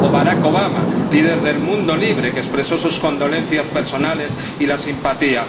Barack Obama, líder del mundo libre, expresó sus condolencias personales y su simpatía.